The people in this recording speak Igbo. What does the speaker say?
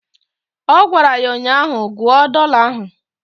Ọ gwara ya ụnyaahụ "Gụọ dọla ahụ"